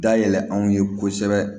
Dayɛlɛ anw ye kosɛbɛ